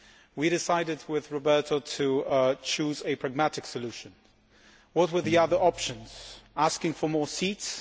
We decided with Roberto to choose a pragmatic solution. What were the other options? Asking for more seats?